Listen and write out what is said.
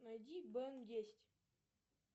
найди бен десять